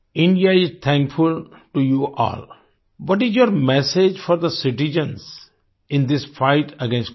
India is thankful to you all what is your message for the citizens in this fight against COVID19